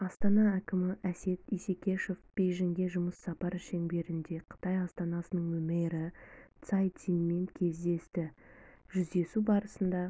астана әкімі әсет исекешев бейжіңге жұмыс сапары шеңберінде қытай астанасының мэрі цай цимен кездесті жүздесу барысында